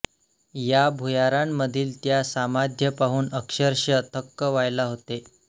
या भुयारांमधील त्या समाध्या पाहून अक्षरश थक्क व्हायला होते